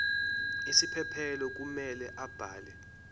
isiphephelo kumele abhale